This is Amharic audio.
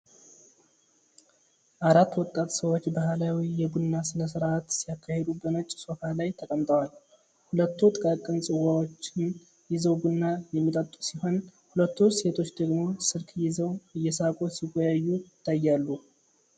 አራት ወጣት ሰዎች ባህላዊ የቡና ሥነ ሥርዓት ሲያካሂዱ በነጭ ሶፋ ላይ ተቀምጠዋል። ሁለቱ ጥቃቅን ጽዋዎችን ይዘው ቡና የሚጠጡ ሲሆን፣ ሁለቱ ሴቶች ደግሞ ስልክ ይዘው እየሳቁ ሲወያዩ ይታያሉ።